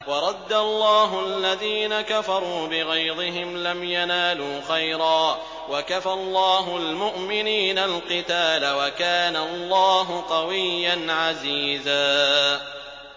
وَرَدَّ اللَّهُ الَّذِينَ كَفَرُوا بِغَيْظِهِمْ لَمْ يَنَالُوا خَيْرًا ۚ وَكَفَى اللَّهُ الْمُؤْمِنِينَ الْقِتَالَ ۚ وَكَانَ اللَّهُ قَوِيًّا عَزِيزًا